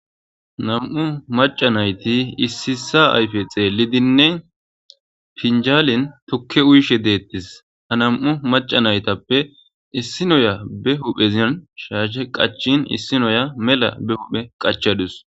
Naam'u macca nayiti issay issuwa ayfe xeellidinne, pinjaalen tukke uyishe de'ettis. Ha naam'u macca nayitappe issi noya ba huphphin shaashe qacciin issi noya mela ba huphphe qachchadasu.